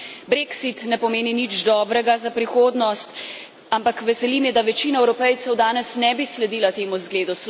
Brexit ne pomeni nič dobrega za prihodnost, ampak veseli me, da večina Evropejcev danes ne bi sledila temu zgledu.